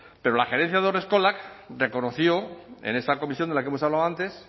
pero la gerencia de haurreskolak reconoció en esa comisión de la que hemos hablado antes